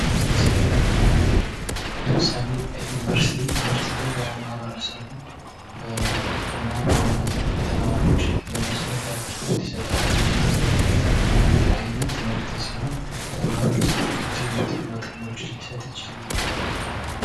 መሠረታዊ አገልግልግሎት ለምሳሌ ዩኒቨርሲቲ ለማህበረሰቡ እና በዋናነት ለተማሪዎች የመሠረታዊ አገልግሎት ይሰጣል የሚሰጠው የመሰረታዊ አገልግሎት አይነት ትምህርት ሲሆን የተለያዩ ጥቅማ ጥቅሞችን ሊሰጥ ይችላል።